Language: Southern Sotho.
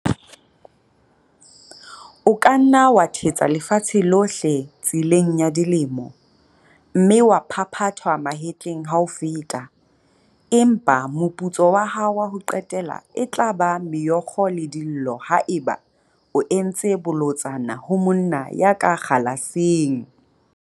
O ka nna wa thetsa lefatshe lohle tseleng ya dilemo, mme wa phaphathwa mahetleng ha o feta, empa moputso wa hao wa ho qetela e tla ba meokgo le dillo haeba o entse bolotsana ho monna ya ka kgalaseng!